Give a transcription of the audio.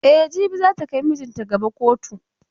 E, jibi za ta kai maijinta gaba kotu.